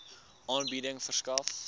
aanbieding verskaf